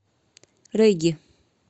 регги